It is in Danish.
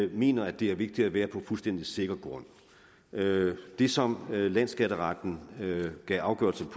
vi mener det er vigtigt at være på fuldstændig sikker grund det som landsskatteretten gav afgørelse